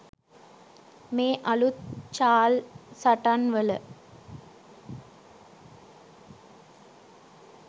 මේ අලුත් චාල්සටන් වල